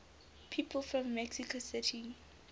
people from mexico city